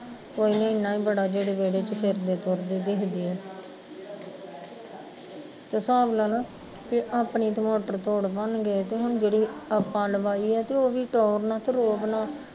ਕੋਈ ਨੀ ਇੰਨਾ ਈ ਬੜਾ ਜਿਹੜੇ ਵੇਹੜੇ ਚ ਫਿਰਦੇ ਤੁਰਦੇ ਦਿਖਦੇ ਐ ਤੇ ਹਿਸਾਬ ਲਾਲਾ, ਵੀ ਆਪਣੀ ਤੇ ਮੋਟਰ ਤੋੜਨੋ ਨੀ ਗਏ ਤੇ ਹੁਣ ਜਿਹੜੀ ਆਪਾਂ ਲਵਾਈ ਐ ਤੇ ਉਹ ਵੀ ਤੋੜਨਾ ਕੀ ਰੋਕਣਾ